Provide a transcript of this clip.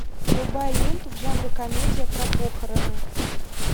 врубай ленту в жанре комедия про похороны